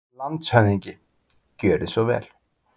LANDSHÖFÐINGI: Gjörið svo vel.